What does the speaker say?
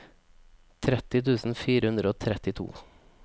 tretti tusen fire hundre og trettito